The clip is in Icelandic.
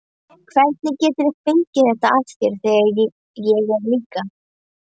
Hvernig geturðu fengið þetta af þér, þegar ég er líka.